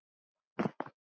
Já, ég er það.